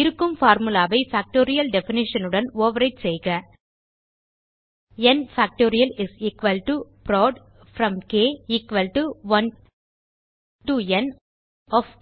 இருக்கும் பார்முலா ஐ factorial definition உடன் ஓவர்விரைட் செய்க n factorial is equal to prod from k 1 to n of க்